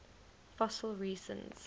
fossil resins